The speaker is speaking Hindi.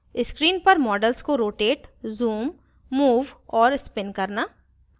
screen पर model को rotate zoom move और spin करना